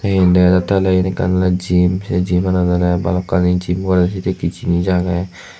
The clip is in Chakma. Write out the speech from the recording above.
te iyen dega jatte ole iyan ekkan ole gym se gym manot ole bhalokkani gym gorede sedekke jinich aage.